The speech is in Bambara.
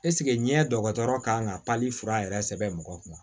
ɲɛ dɔgɔtɔrɔ kan ka fura yɛrɛ sɛbɛn mɔgɔ kunna